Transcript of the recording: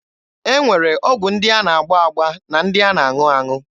E nwere ọgwụ ndị a na-agba agba na ndị a na-aṅụ aṅụ.